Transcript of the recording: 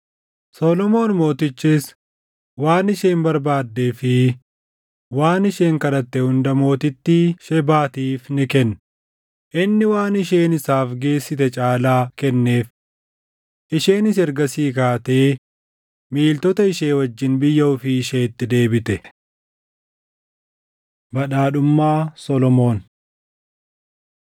Solomoon Mootichis waan isheen barbaaddee fi waan isheen kadhatte hunda mootittii Shebaatiif ni kenne; inni waan isheen isaaf geessite caalaa kenneef. Isheenis ergasii kaatee miiltota ishee wajjin biyya ofii isheetti deebite. Badhaadhummaa Solomoon 9:13‑28 kwf – 1Mt 10:14‑29; 2Sn 1:14‑17